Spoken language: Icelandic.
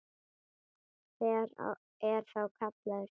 Hver er þá kallaður til?